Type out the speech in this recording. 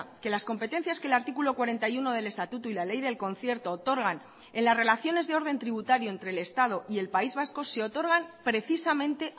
que las competencias que el artículo cuarenta y uno del estatuto y la ley del concierto otorgan en las relaciones de orden tributario entre el estado y el país vasco se otorgan precisamente